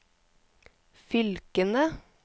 fylkene